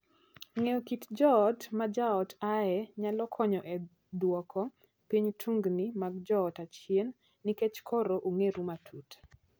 Ng'eyo kit joot ma jaot ae nyalo konyo e duoko piny tungni mag joot achien nikech koro ung'eru matut.